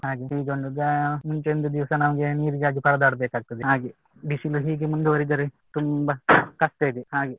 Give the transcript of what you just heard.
ಹೀಗೊಂದು ಮುಂಚೆ ಒಂದು ದಿವಸ ನಮಗೆ ನೀರಿಗಾಗಿ ಪರದಾಡ್ ಬೇಕಾಗ್ತದೆ ಹಾಗೆ. ಬಿಸಿಲು ಹೀಗೆ ಮುಂದು ವರೆದರೆ ತುಂಬಾ ಕಷ್ಟ ಇದೆ ಹಾಗೆ